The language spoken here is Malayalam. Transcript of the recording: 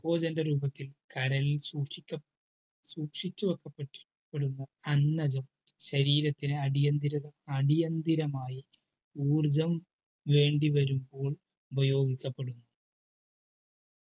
രൂപത്തിൽ കരൾ സൂക്ഷിക സൂക്ഷിച്ചുവെക്കപ്പടുന്ന അന്നജം ശരീരത്തിന് അടിയന്തരം അടിയന്തരമായി ഊർജം വേണ്ടിവരുമ്പോൾ ഉപയോഗികപ്പെടുന്നു